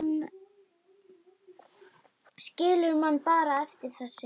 Skilur mann bara eftir, þessi.